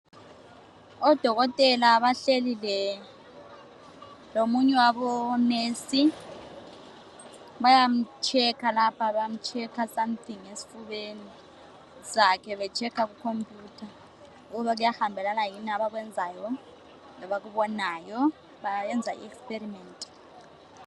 Odokotela bahleli lomunye wabomongikazi bayamhlola lapha bamhlola something esifubeni sakhe behlola kukhompuyutha ukuba kuyahambelana yini abakwenzayo labakubonayo bayenza iexperiment.